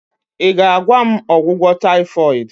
ị ga-agwa m ọgwụgwọ taifoid?